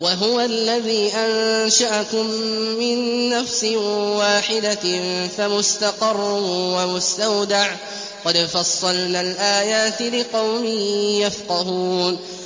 وَهُوَ الَّذِي أَنشَأَكُم مِّن نَّفْسٍ وَاحِدَةٍ فَمُسْتَقَرٌّ وَمُسْتَوْدَعٌ ۗ قَدْ فَصَّلْنَا الْآيَاتِ لِقَوْمٍ يَفْقَهُونَ